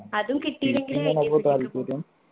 അതും കിട്ടീലെങ്കില്